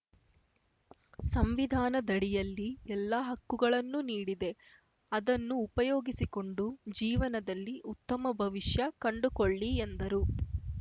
ಸಂವಿಧಾನದಡಿಯಲ್ಲಿ ಎಲ್ಲಾ ಹಕ್ಕುಗಳನ್ನು ನೀಡಿದೆ ಅದನ್ನು ಉಪಯೋಗಿಸಿಕೊಂಡು ಜೀವನದಲ್ಲಿ ಉತ್ತಮ ಭವಿಷ್ಯ ಕಂಡುಕೊಳ್ಳಿ ಎಂದರು